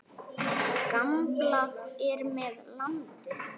Gamblað er með landið.